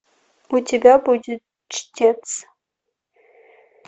у тебя будет чтец